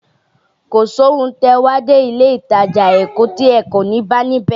Kò sí ohun tí ẹ wá dé ilé ìtajà Èkó tí ẹ kò ní bá ní bẹ̀.